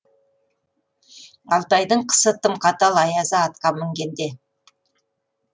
алтайдың қысы тым қатал аязы атқа мінгенде